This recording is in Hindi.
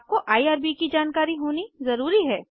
आपको आईआरबी की जानकारी होना ज़रूरी है